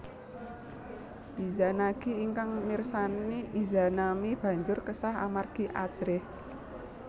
Izanagi ingkang mirsani Izanami banjur kesah amargi ajrih